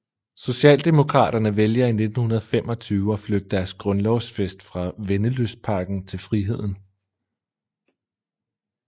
Socialdemokraterne vælger i 1925 at flytte deres grundlovsfest fra Vennelystparken til Friheden